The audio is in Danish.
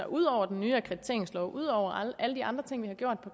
ud over den nye akkrediteringslov ud over alle de andre ting vi har gjort